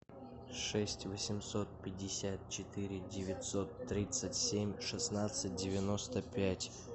шесть восемьсот пятьдесят четыре девятьсот тридцать семь шестнадцать девяносто пять